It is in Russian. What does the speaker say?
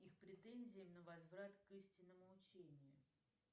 их претензии на возврат к истинному учению